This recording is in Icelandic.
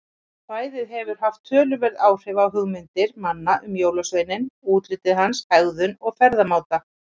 Kvæðið hefur haft töluverð áhrif á hugmyndir manna um jólasveininn, útlit hans, hegðun og ferðamáta.